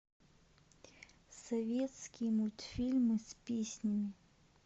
советские мультфильмы с песнями